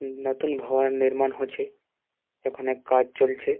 উ নতুন ভবন নির্মাণ হছে ওখানে কাজ চলছে।